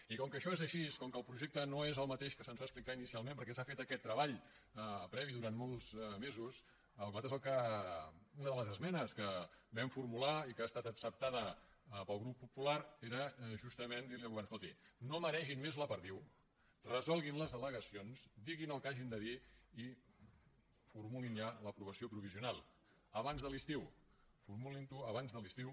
i com que això és així com que el projecte no és el mateix que se’ns va explicar inicialment perquè s’ha fet aquest treball previ durant molts mesos nosaltres una de les esmenes que vam formular i que ha estat acceptada pel grup popular era justament dir li al govern escoltin no maregin més la perdiu resolguin les al·legacions diguin el que hagin de dir i formulin ja l’aprovació provisional abans de l’estiu formulin la abans de l’estiu